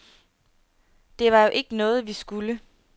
Det var jo ikke noget, vi skulle.